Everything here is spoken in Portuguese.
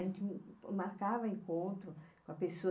A gente marcava encontro com a pessoa.